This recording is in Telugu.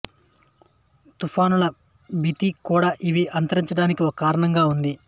తుఫానుల భీతి కూడా ఇవి అంతరించడానికి ఒక కారణంగా ఉంది